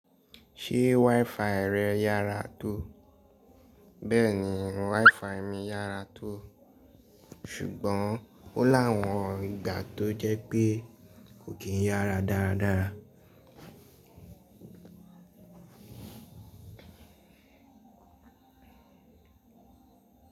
Ṣé WiFi rẹ yára tó? Bẹ́ẹ̀ni WiFi mi yára tó, ṣùgbọ́n ó ni awọn ìgbà tó jẹ́ pé kò kíi yára dáradára.